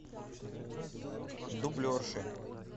дублерши